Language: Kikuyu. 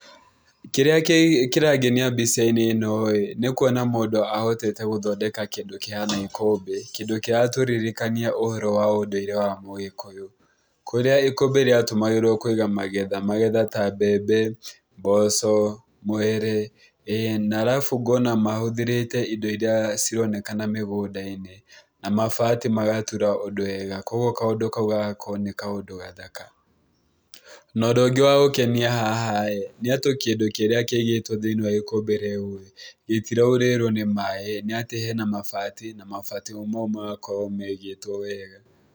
Kĩrĩa kĩrangenia mbica-inĩ ĩno ī nĩ ũkũona mũndũ ahotete gũthondeka kĩndũ kĩhana ikũmbĩ kĩndũ kĩratũririkania ũhoro wa ũndũire wa mũgĩkũyũ, kũrĩa ikũmbĩ rĩa tũmagĩrwo kũiga magetha ta mbembe, mboco, mwere, na arabu ngona mahũthĩrĩte indo iria cironekana mĩgunda-inĩ na mabati magatura ũndũ wega koguo kaũndũ k au gagakorwo nĩ kaũndũ gathaka. Na ũndũ ũngĩ wa gũkenia haha nĩ atĩ kĩndũ kĩrĩa kĩigĩtwo thĩinĩ wa ikũmbĩ rĩu, rĩtiraũrĩrwo nĩ maĩ nĩ atĩ hena mabati na mabati o maũ magakorwo maigatwo wega.